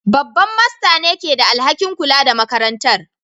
Babban Master ne ke da alhakin kula da makarantar